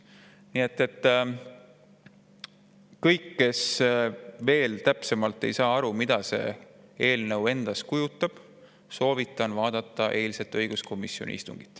Nii et kõigil, kes veel ei ole aru saanud, mida see eelnõu täpsemalt endast kujutab, soovitan järele vaadata eilset õiguskomisjoni istungit.